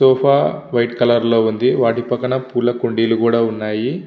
Sofa white colour లొ వుంది వాటి పక్కన పులా కుండి లు కూడా ఉన్నాయి.